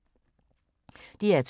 DR2